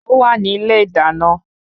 Ówà ní ilé idana